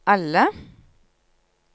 alle